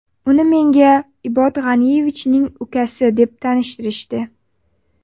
Uni menga Ibod G‘aniyevichning ukasi deb tanishtirishdi.